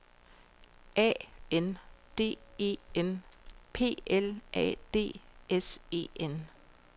A N D E N P L A D S E N